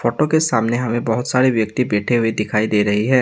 और के सामने हमें बहोत सारे व्यक्ति बैठे हुए दिखाई दे रहे हैं।